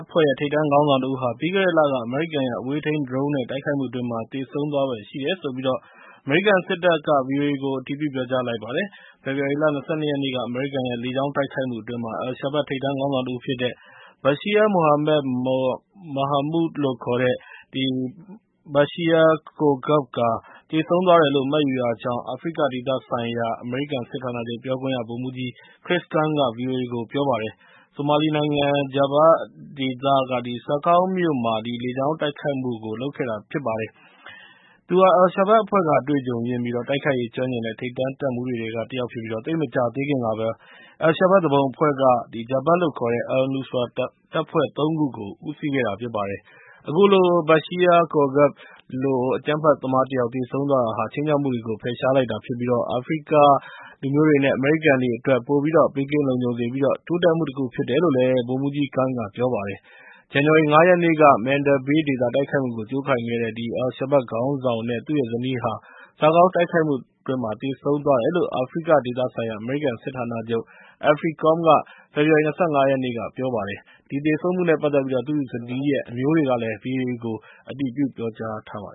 ဖွဲ့ရဲ့ ထိပ်တန်းခေါင်းဆောင်တဦးဟာ ပြီးခဲ့တဲ့လက အမေရိကန်ရဲ့ အဝေးထိန်းဒရုန်းနဲ့ တိုက်ခိုက်မှုအတွင်း သေဆုံးသွားဖွယ်ရှိတယ်လို့ အမေရိကန်စစ်တပ်က ဗွီအိုအေကို အတည်ပြုလိုက်ပါတယ်။ ဖေဖော်ဝါရီလ ၂၂ ရက်နေ့က အမေရိကန်ရဲ့ လေကြောင်းတိုက်ခိုက်မှုအတွင်း Al Shabab ထိပ်တန်းခေါင်းဆောင်တဦးဖြစ်တဲ့ Bashir Mohamed Mahamoud လို့ခေါ်တဲ့ Bashir Qoorgaab သေဆုံးသွားတယ်လို့ မှတ်ယူရကြောင်း အာဖရိကဒေသဆိုင်ရာ အမေရိကန်စစ်ဌာနချုပ် ပြောခွင့်ရ ဗိုလ်မှူးကြီး Chris Karns က ဗွီအိုအေကို ပြောပါတယ်။ ဆိုမာလီနိုင်ငံ Jubba ဒေသက Saakow မြို့မှာ အဲဒီလေကြောင်းတိုက်ခိုက်မှုကို လုပ်ခဲ့တာ ဖြစ်ပါတယ်။ သူဟာ Al Shabab အဖွဲ့က အတွေ့အကြုံရင့်ပြီး တိုက်ခိုက်ရေး ကျွမ်းကျင်တဲ့ ထိပ်တန်းတပ်မှူးတွေထဲက တယောက်ဖြစ်ပြီး သိပ်မကြာသေးခင်ကဘဲ Al Shabab သူပုန်အဖွဲ့က Jabhat လို့ခေါ်တဲ့ Al-Nusra တပ်ဖွဲ့ ၃ ခုကို ဦးစီးခဲ့တာ ဖြစ်ပါတယ်။ အခုလို Bashir Qoorgaab လို့ အကြမ်းဖက်သမားတယောက် သေဆုံးသွားတာဟာ ခြိမ်းခြောက်မှုတွေကို ဖယ်ရှားလိုက်တာဖြစ်ပြီး အာဖရိကလူမျိုးတွေနဲ့ အမေရိကန်တွေအတွက် ပိုပြီးတော့ ဘေးကင်းလုံခြုံစေပြီး တိုးတက်မှုတခု ဖြစ်တယ်လို့ ဗိုလ်မှူးကြီး Karns က ဗွီအိုအေကို ပြောပါတယ်။ ဇန်နဝါရီလ ၅ ရက်နေ့က Manda Bay ဒေသ တိုက်ခိုက်မှုကို ကြိုးကိုင်ခဲ့တဲ့ Al Shabab ခေါင်းဆောင်နဲ့ သူ့ဇနီးဟာ Saakow တိုက်ခိုက်မှုအတွင်း သေဆုံးသွားတယ်လို့ အာဖရိကဒေသဆိုင်ရာ အမေရိကန်စစ်ဌာနချုပ် AFRICOM က ဖေဖော်ဝါရီလ ၂၅ ရက်နေ့က ပြောကြားခဲ့ပါတယ်။ ဒီသေဆုံးမှုနဲ့ ပတ်သက်ပြီး သူ့ဇနီးရဲ့ အမျိုးတွေကလည်း ဗွီအိုအေကို အတည်ပြု ပြောကြားခဲ့ပါတ